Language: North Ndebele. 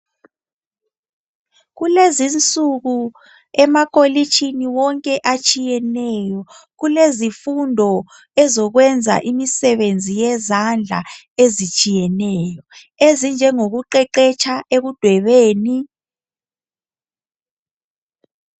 kulezinsuku emakolitshini wonke atshiyeneyo kuelzifundo yokwenza imisebenzi yezandla ezitshiyeneyo ezinjengokuqeqetsha ekudwebeni